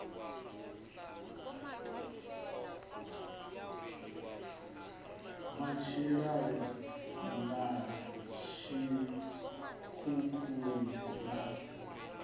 na tshilavhi na tshikhukhulisi na